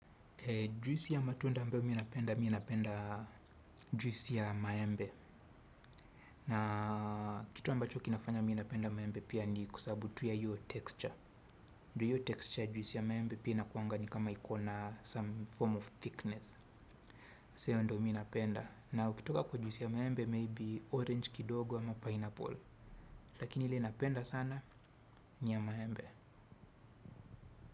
Juisi ya matunda ambayo mi napenda mi napenda juisi ya maembe. Na kitu ambacho kinafanya mi napenda maembe pia ni kwa sababu tu ya io texture. Ndiyo io texture ya juisi ya maembe pia inakuanga ni kama iko na some form of thickness. Saa iyo ndo mi napenda. Na ukitoka kwa juisi ya maembe maybe orange kidogo ama pineapple. Lakini ile napenda sana ni ya maembe.